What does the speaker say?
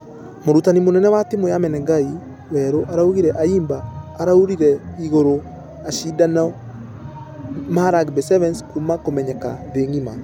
Mũrutani mũnene wa timũ ya menengai weru araugire ayimba arũire igũrũ ashidano ma rugby sevens kuuma ...... kũmenyeka thĩ ngima .